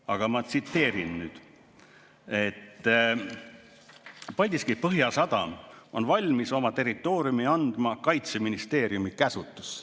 Aga ma tsiteerin nüüd, et Paldiski Põhjasadam on valmis oma territooriumi andma Kaitseministeeriumi käsutusse.